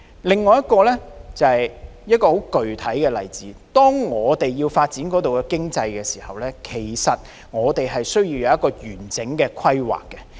另一個具體例子是，當要發展一個地方的經濟時，我們需要有完整的規劃。